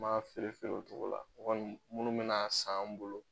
M'a feere feere o cogo la ŋɔni minnu bɛn'a san an' bolo